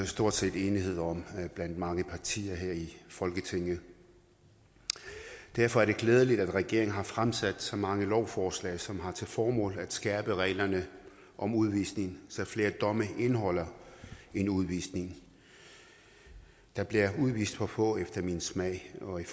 stort set enighed om blandt mange partier her i folketinget derfor er det glædeligt at regeringen har fremsat så mange lovforslag som har til formål at skærpe reglerne om udvisning så flere domme indeholder en udvisning der bliver udvist for få efter min smag og er